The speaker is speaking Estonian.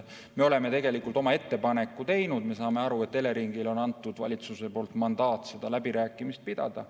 Me oleme tegelikult oma ettepaneku teinud, me saame aru, et Eleringile on antud valitsuse poolt mandaat neid läbirääkimisi pidada.